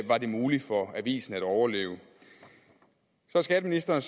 var det muligt for avisen at overleve så er skatteministeren